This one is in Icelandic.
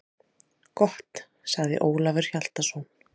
Gott, sagði Ólafur Hjaltason.